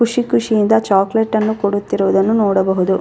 ಖುಷಿ ಖುಷಿ ಇಂದ ಚಾಕಲೇಟ್ ಅನ್ನು ಕೊಡುತ್ತಿರುವುದನ್ನು ನೋಡಬಹುದು.